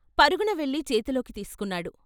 పరుగున వెళ్ళి చేతిలోకి తీసుకున్నాడు.